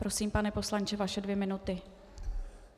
Prosím, pane poslanče, vaše dvě minuty.